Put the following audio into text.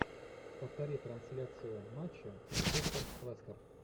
повтори трансляцию матча манчестер лестер